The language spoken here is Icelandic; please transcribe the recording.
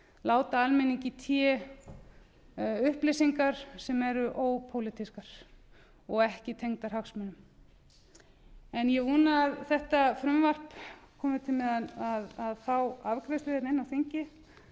láta almenningi í té upplýsingar sem eru ópólitískar og ekki tengdar hagsmunum ég vona að þetta frumvarp komi til með að fá afgreiðslu hérna inni á þingi